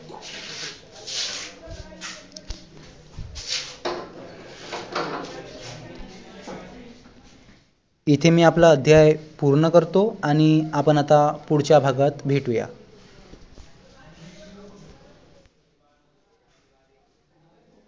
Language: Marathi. इथे मी आपला अध्याय पूर्ण करतो आणि आपण पुढच्या भागात भेटूया